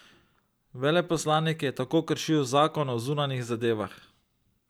Veleposlanik je tako kršil zakon o zunanjih zadevah.